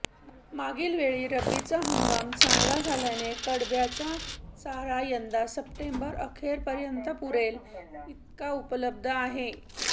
मागील वेळी रब्बीचा हंगाम चांगला झाल्याने कडब्याचा चारा यंदा सप्टेंबर अखेरपर्यंत पुरेल इतका उपलब्ध आहे